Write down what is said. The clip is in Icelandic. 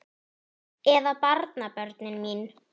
Eða barnabörnin mín?